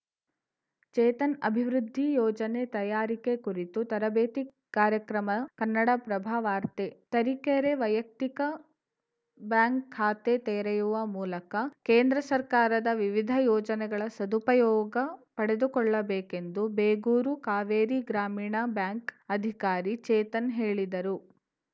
ಚೇತನ್‌ ಅಭಿವೃದ್ಧಿ ಯೋಜನೆ ತಯಾರಿಕೆ ಕುರಿತು ತರಬೇತಿ ಕಾರ್ಯಕ್ರಮ ಕನ್ನಡಪ್ರಭ ವಾರ್ತೆ ತರೀಕೆರೆ ವೈಯಕ್ತಿಕ ಬ್ಯಾಂಕ್‌ ಖಾತೆ ತೆರೆಯುವ ಮೂಲಕ ಕೇಂದ್ರ ಸರ್ಕಾರದ ವಿವಿಧ ಯೋಜನೆಗಳ ಸದುಪಯೋಗ ಪಡೆದುಕೊಳ್ಳಬೇಕೆಂದು ಬೇಗೂರು ಕಾವೇರಿ ಗ್ರಾಮೀಣ ಬ್ಯಾಂಕ್‌ ಅಧಿಕಾರಿ ಚೇತನ್‌ ಹೇಳಿದರು